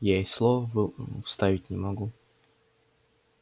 я и слова вставить не могу